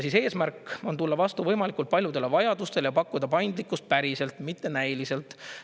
Eesmärk on tulla vastu võimalikult paljudele vajadustele ja pakkuda paindlikkust päriselt, mitte näiliselt.